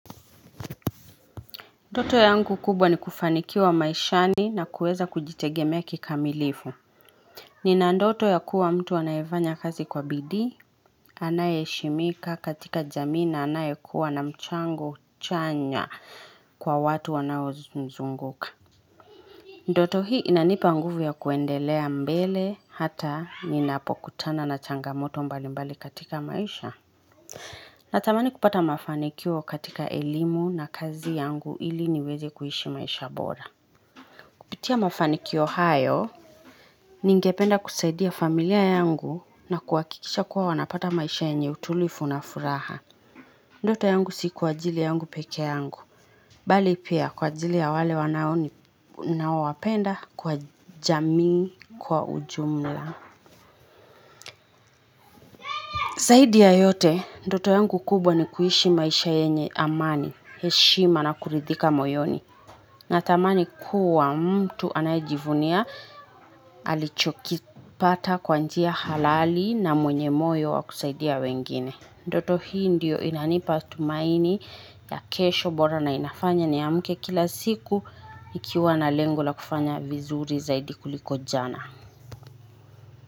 Ndoto yangu kubwa ni kufanikiwa maishani na kueza kujitegemea kikamilifu. Nina ndoto ya kuwa mtu anaefanya kazi kwa bidii, anaye heshimika katika jamii na anaye kuwa na mchango chanya kwa watu wanao mzunguka. Ndoto hii inanipa nguvu ya kuendelea mbele hata ninapokutana na changamoto mbalimbali katika maisha. Natamani kupata mafanikio katika elimu na kazi yangu ili niweze kuishi maisha bora. Kupitia mafanikio hayo, ningependa kusaidia familia yangu na kuhakikisha kuwa wanapata maisha yenye utulivu na furaha. Ndoto yangu si kwa ajili yangu pekee yangu. Bali pia kwa ajili ya wale wanao ninao wapenda kwa jamii kwa ujumla. Zaidi ya yote, ndoto yangu kubwa ni kuhishi maisha yenye amani, heshima na kuridhika moyoni. Natamani kuwa mtu anayejivunia alichokipata kwa njia halali na mwenye moyo wakusaidia wengine. Ndoto hii ndiyo inanipa tumaini ya kesho bora na inafanya niamke kila siku ikiwa na lengu la kufanya vizuri zaidi kuliko jana.